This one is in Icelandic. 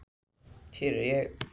Hver ég er.